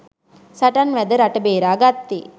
සටන් වැද රට බේරාගත්තේ